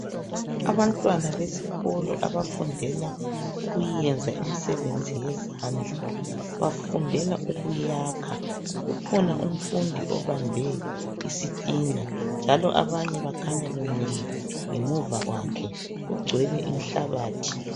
Abantwana besikolo abafundela ukuyenza imsebenzi yezandla bafundela ukuyakha ukhona umfundi obambe isitina njalo abanye bakhanya bemile ngemuva kwakhe kugcwele inhlabathi.